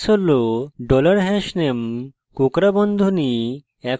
syntax হল: dollar hashname কোঁকড়া বন্ধনী